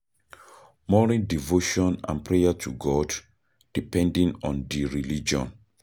Morning devotion and prayer to God, depending on di religion